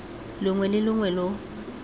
longwe le longwe lo lo